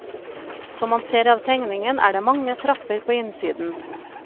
Som man ser av tegningen er det mange trapper på innsiden.